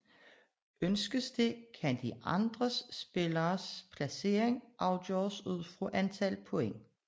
Ønskes det kan de andre spilleres placering afgøres ud fra antal point